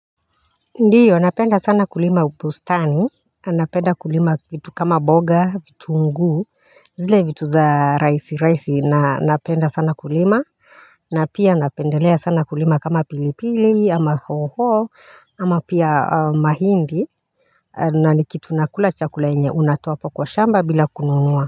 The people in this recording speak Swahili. Ndiyo, napenda sana kulima ubusitani, napenda kulima vitu kama boga, vitunguu, zile vitu za rahisi rahiisi, napenda sana kulima, na pia napendelea sana kulima kama pilipili, ama hoho, ama pia mahindi na ni kitu nakula chakula yenye, unatoa kwa shamba bila kununua.